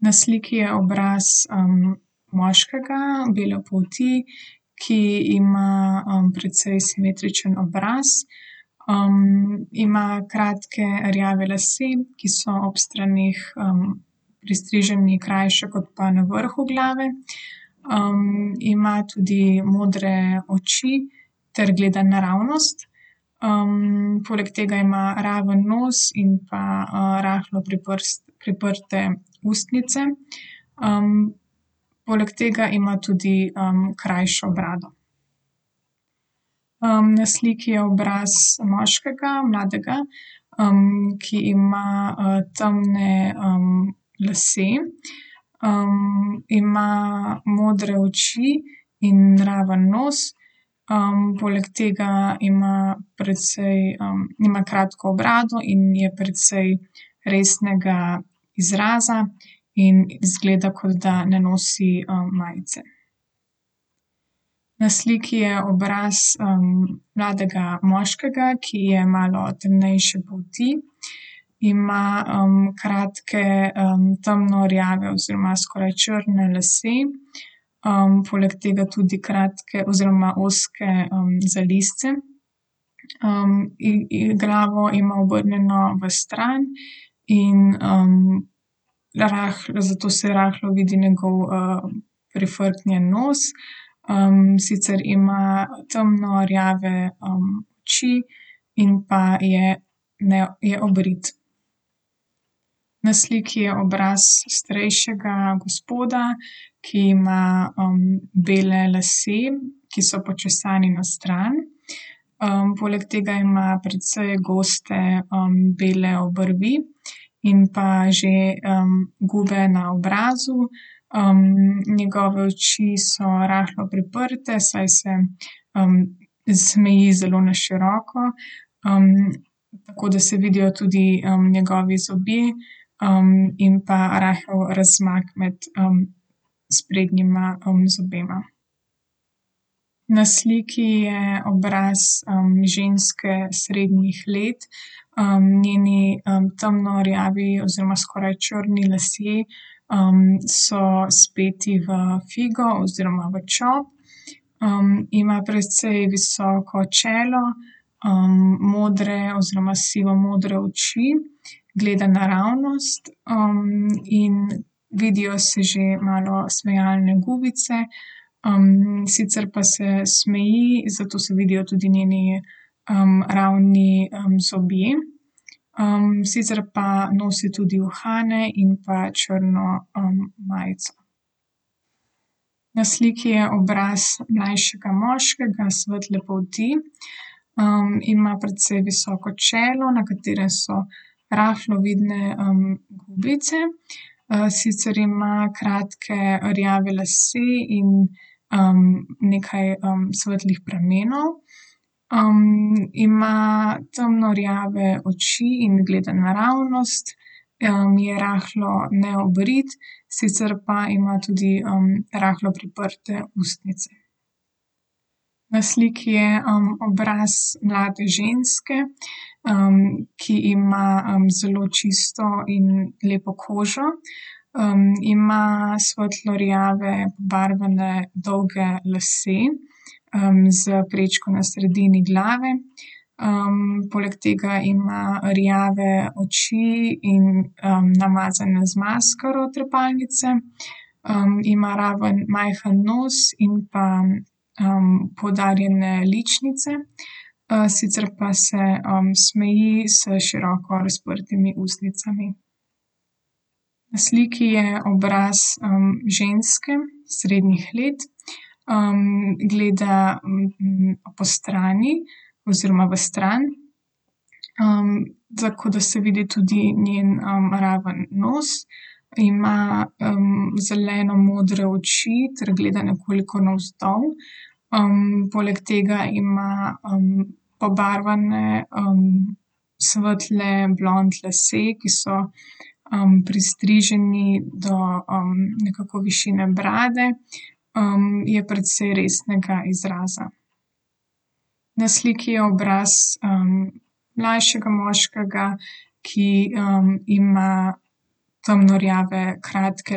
Na sliki je obraz, moškega, bele polti, ki ima, precej simetričen obraz, ima kratke rjave lase, ki so ob straneh, pristriženi krajše kot pa na vrhu glave. ima tudi modre oči ter gleda naravnost. poleg tega ima raven nos in pa, rahlo priprte ustnice. poleg tega ima tudi, krajšo brado. na sliki je obraz moškega, mladega, ki ima temne, lase, ima modre oči in raven nos. poleg tega ima precej, ima kratko brado in je precej resnega izraza. In izgleda, kot da ne nosi, majice. Na sliki je obraz, mladega moškega, ki je malo temnejše polti. Ima, kratke, temno rjave oziroma skoraj črne lase. poleg tega tudi kratke oziroma ozke, zalizce. glavo ima obrnjeno vstran in, zato se rahlo vidi njegov, prifrknjen nos. sicer ima temno rjave, oči in pa je je obrit. Na sliki je obraz starejšega gospoda, ki ima, bele lase, ki so počesani na stran. poleg tega ima precej goste, bele obrvi. In pa že, gube na obrazu, njegove oči so rahlo priprte, saj se, smeji zelo na široko, tako da se vidijo tudi, njegovi zobje, in pa rahel razmak med, sprednjima, zobema. Na sliki je obraz, ženske srednjih let. njeni, temno rjavi oziroma skoraj črni lasje, so speti v figo oziroma v čop. ima precej visoko čelo, modre oziroma sivomodre oči. Gleda naravnost, in vidijo se že malo smejalne gubice. sicer pa se smeji, zato se vidijo tudi njeni, ravni, zobje. sicer pa nosi tudi uhane in pa črno, majico. Na sliki je obraz mlajšega moškega, svetle polti. ima precej visoko čelo, na katerem so rahlo vidne, gubice. sicer ima kratke rjave lase in, nekaj, svetlih pramenov. ima temno rjave oči in gleda naravnost. je rahlo neobrit, sicer pa ima tudi, rahlo priprte ustnice. Na sliki je, obraz mlade ženske, ki ima, zelo čisto in lepo kožo. ima svetlo rjave barvane, dolge lase. s prečko na sredini glave. poleg tega ima rjave oči in, namazane z maskaro trepalnice. ima ravno, majhno nos in pa, poudarjene ličnice. sicer pa se, smeji s široko razprtimi ustnicami. Na sliki je obraz, ženske, srednjih let. gleda postrani oziroma v stran, tako da se vidi tudi njen, ravno nos. Ima, zelenomodre oči ter gleda nekoliko navzdol. poleg tega ima, pobarvane, svetle blond lase, ki so, pristriženi do, nekako višine brade. je precej resnega izraza. Na sliki je obraz, mlajšega moškega, ki, ima temno rjave kratke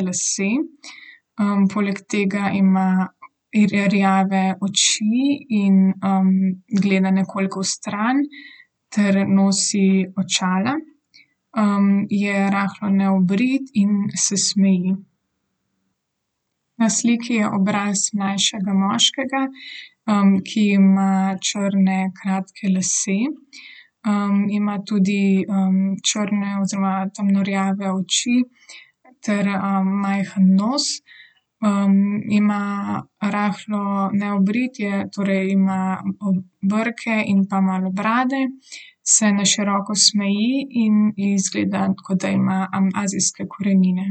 lase. poleg tega ima rjave oči in, gleda nekoliko vstran ter nosi očala. je rahlo neobrit in se smeji. Na sliki je obraz mlajšega moškega, ki ima črne kratke lase. ima tudi, črne oziroma temno rjave oči ter, majhen nos. ima rahlo neobrit je, torej ima brke in pa malo brade. Se na široko smeji in izgleda, kot da ima, azijske korenine.